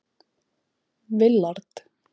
Willard